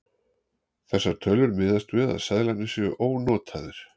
Þessar tölur miðast við að seðlarnir séu ónotaðir.